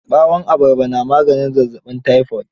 Ɓawon abarba na maganin zazzaɓin tayifot.